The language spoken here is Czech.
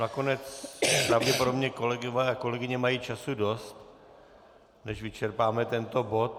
Nakonec pravděpodobně kolegové a kolegyně mají času dost, než vyčerpáme tento bod.